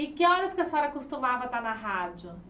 E que horas que a senhora costumava estar na rádio?